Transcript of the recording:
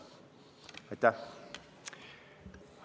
Aitäh!